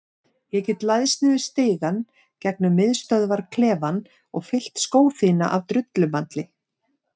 Ég get læðst niður stigann gegnum miðstöðvarklefann og fyllt skó þína af drullumalli.